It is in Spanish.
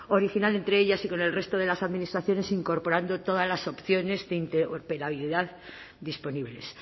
original entre ellas y con el resto de las administraciones incorporando todas las opciones de interoperabilidad disponibles